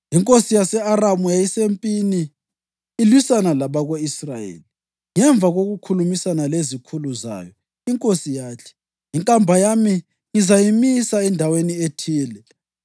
Inkosi yase-Aramu yayisempini ilwisana labako-Israyeli. Ngemva kokukhulumisana lezikhulu zayo inkosi yathi, “Inkamba yami ngizayimisa endaweni ethile.”